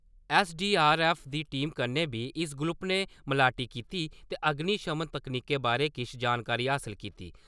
SDRF दी team कन्नै बी इस ग्रुप ने मलाटी कीती ते अग्निशमन तक्नीकें बारै किश जानकारी हासल कीती।